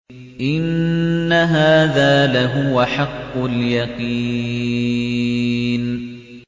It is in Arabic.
إِنَّ هَٰذَا لَهُوَ حَقُّ الْيَقِينِ